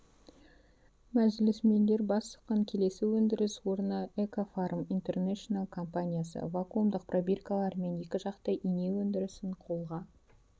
мәжілісмендер бас сұққан келесі өндіріс орны экофарм интернешнл компаниясы вакумдық пробиркалар мен екіжақты ине өндірісін қолға